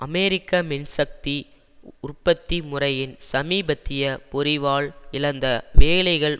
அமெரிக்க மின் சக்தி உற்பத்தி முறையின் சமீபத்திய பொறிவால் இழந்த வேலைகள்